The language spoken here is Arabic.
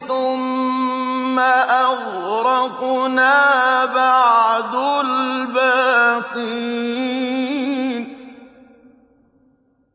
ثُمَّ أَغْرَقْنَا بَعْدُ الْبَاقِينَ